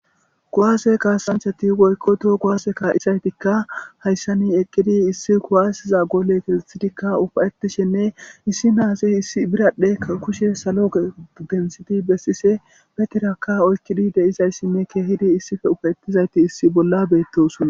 Kowaase kaasanchati woykkoto gowaase kaa'isaytikka hayssani eqqidi issi kuwaaysiza goole keesethidikka ufayetishenne issi naasi issi biraddhekka kushe salo gensidi bessise betirakka oykkidi deizayssinne keehidi issife ufayettizayti issi bolla beettosuna.